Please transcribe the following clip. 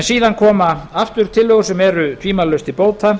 síðan koma afar tillögur sem eru tvímælalaust til bóta